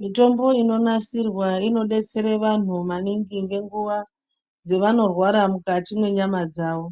Mitombo inonasirwa inodetsere vanhu maningi ngenguva dzevanorwara, mukati mwenyama dzavo.